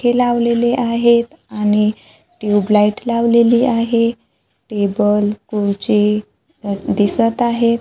हे लावलेले आहेत आणि ट्यूबलाईट लावलेली आहे टेबल खुर्ची दिसत आहेत.